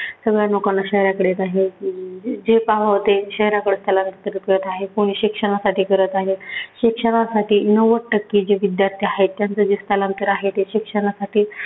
सगळ्या लोकांना शहराकडे जाण्याची. जे होते शहराकडे स्थलांतर करीत आहेत. कोणी शिक्षणासाठी करत आहे, शिक्षणासाठी नव्वद टक्के जे विद्यार्थी आहेत त्यांचं हे स्थलांतर आहे ते शिक्षणासाठी